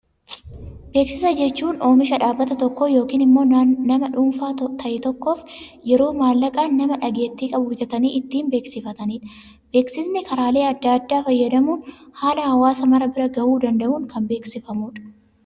Beeksisa jechuun oomisha dhaabbata tokkoo yookaan immoo nama dhuunfaa ta'e tokkoof yeroo mallaqaan, nama dhageettii qabu bitatanii ittiin beeksifatanidha. Beeksisni karaalee addaa addaa fayyadamuun haala hawaasa mara bira gahuu danda'uun kan beeksifamudha.